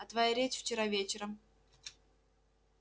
а твоя речь вчера вечером